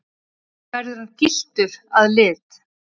Verður hann gylltur að lit